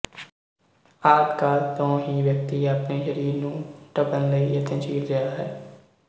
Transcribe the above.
ਆਦਿ ਕਾਲ ਤੋਂ ਹੀ ਵਿਅਕਤੀ ਆਪਣੇ ਸਰੀਰ ਨੂੰ ਢੱਕਣ ਲਈ ਯਤਨਸ਼ੀਲ ਰਿਹਾ ਹੈ